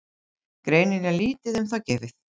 Greinilega lítið um þá gefið.